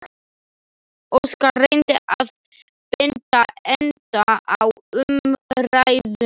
Óskar reyndi að binda enda á umræðuna.